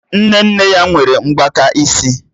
Nne nne ya nwere mgbaka isi